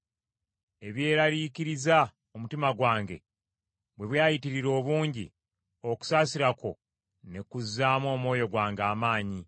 Ebyeraliikiriza omutima gwange bwe byayitirira obungi, okusaasira kwo ne kuzzaamu omwoyo gwange amaanyi.